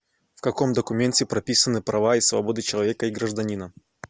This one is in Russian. в каком документе прописаны права и свободы человека и гражданина